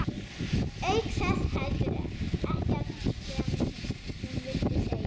Auk þess heldur ekki það sem hún vildi segja.